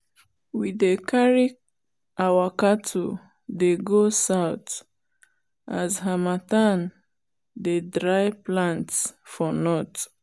we dey carry our cattle dey go south as harmattan dey dry plants for north.